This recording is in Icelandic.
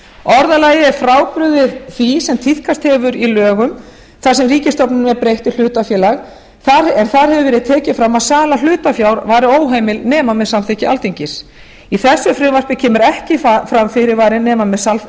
orðalagið er frábrugðið því sem tíðkast hefur í lögum þar sem ríkisstofnunum er breytt í hlutafélag þar hefur verið tekið fram að sala hlutafjár væri óheimil nema með samþykki alþingis í þessu frumvarpi kemur ekki fram fyrirvari nema með